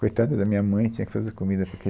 Coitada da minha mãe, tinha que fazer comida porque...